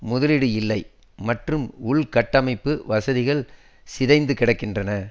முதலீடு இல்லை மற்றும் உள்கட்டமைப்பு வசதிகள் சிதைந்து கிடக்கின்றன